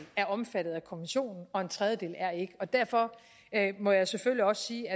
er omfattet af konventionen og en tredjedel er ikke derfor må jeg selvfølgelig også sige